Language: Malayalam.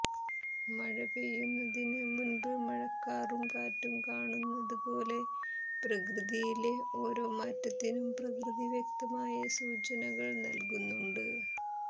മഴ പെയ്യുന്നതിന് മുന്പ് മഴക്കാറും കാറ്റും കാണുന്നത് പോലെ പ്രകൃതിയിലെ ഒാരോ മാറ്റത്തിനും പ്രകൃതി വ്യക്തമായ സൂചനകൾ നൽകുന്നുണ്ട്